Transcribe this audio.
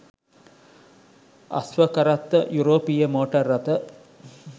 අශ්ව කරත්ත යුරෝපීය මෝටර් රථ